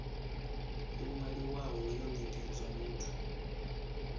yo ṅwaliwaho yo nekedzwa muthu